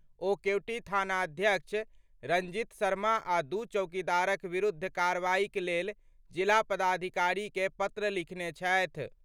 ओ केवटी थानाध्यक्ष रंजीत शर्मा आ दू चौकीदारक विरुद्ध कार्रवाईक लेल जिला पदाधिकारी कें पत्र लिखने छथि।